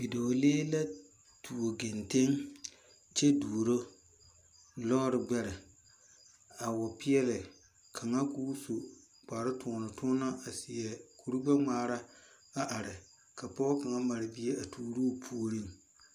Bidɔglee la tuo kenten kye duoro loore gbɛri a wa peɛli kanga koo su kpare tuonu tuonu a seɛ kuri gbe ngmaara a arẽ ka poɔ kang mari bie a tuuro poɔring.